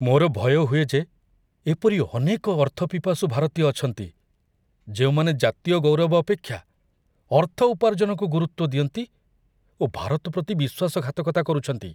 ମୋର ଭୟ ହୁଏ ଯେ ଏପରି ଅନେକ ଅର୍ଥପିପାସୁ ଭାରତୀୟ ଅଛନ୍ତି, ଯେଉଁମାନେ ଜାତୀୟ ଗୌରବ ଅପେକ୍ଷା ଅର୍ଥ ଉପାର୍ଜନକୁ ଗୁରୁତ୍ଵ ଦିଅନ୍ତି ଓ ଭାରତ ପ୍ରତି ବିଶ୍ଵାସଘାତକତା କରୁଛନ୍ତି।